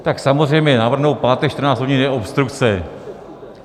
Tak samozřejmě navrhnout pátek 14 hodin je obstrukce.